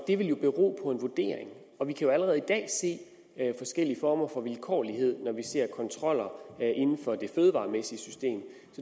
det vil jo bero på en vurdering og vi kan allerede i dag se forskellige former for vilkårlighed når vi ser på kontroller inden for det fødevaremæssige system